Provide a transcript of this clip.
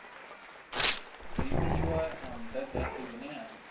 dzimiwa ha mudagasi hune ha